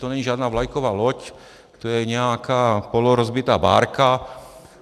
To není žádná vlajková loď, to je nějaká polorozbitá bárka.